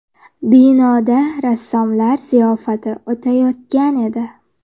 Binoda rassomlar ziyofati o‘tayotgan edi.